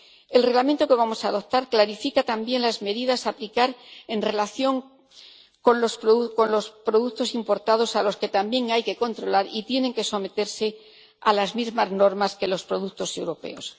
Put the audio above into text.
El Reglamento que vamos a adoptar clarifica también las medidas que se han de aplicar en relación con los productos importados, a los que también hay que controlar, y tienen que someterse a las mismas normas que los productos europeos.